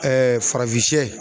farafinsiyɛ